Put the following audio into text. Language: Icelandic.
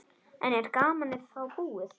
En er gamanið þá búið?